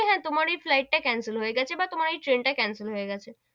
হ্যা, তোমার ওই flight টা cancel হয়ে গেছে, বা তোমার ওই ট্রেন টা cancel হয়ে গেছে,